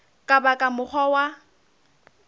ka ba ka mokgwa wa